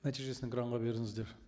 нәтижесін экранға беріңіздер